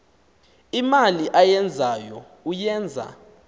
imali ayenzayo uyenza